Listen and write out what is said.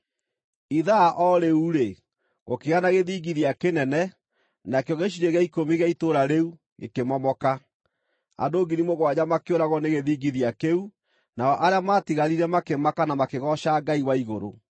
Ithaa o rĩu-rĩ, gũkĩgĩa na gĩthingithia kĩnene, nakĩo gĩcunjĩ gĩa ikũmi gĩa itũũra rĩu gĩkĩmomoka. Andũ ngiri mũgwanja makĩũragwo nĩ gĩthingithia kĩu, nao arĩa maatigarire makĩmaka na makĩgooca Ngai wa igũrũ.